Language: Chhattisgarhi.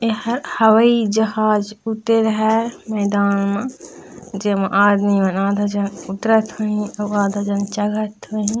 एहा हवाई जहाज़ उड़ते रहय मैदान मा जे मा आदमी मन आधा झन उतरत होही आधा जन चघत होही--